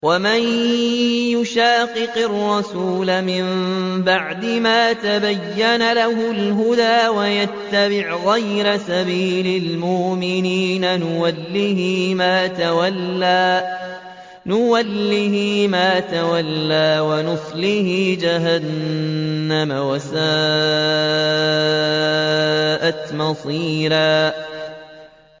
وَمَن يُشَاقِقِ الرَّسُولَ مِن بَعْدِ مَا تَبَيَّنَ لَهُ الْهُدَىٰ وَيَتَّبِعْ غَيْرَ سَبِيلِ الْمُؤْمِنِينَ نُوَلِّهِ مَا تَوَلَّىٰ وَنُصْلِهِ جَهَنَّمَ ۖ وَسَاءَتْ مَصِيرًا